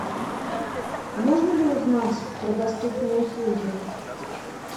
а можно ли узнать про доступные услуги